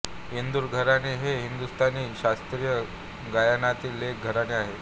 इंदूर घराणे हे हिंदुस्थानी शास्त्रीय गायनातील एक घराणे आहे